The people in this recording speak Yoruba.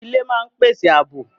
Ilé máa ń pèsè àbò